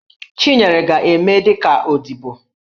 Chinyere ga-eme dị ka odibo.